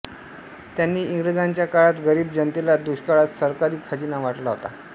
त्यांनी इंग्रजांच्या काळात गरीब जनतेला दुष्काळात सरकारी खजिना वाटला होता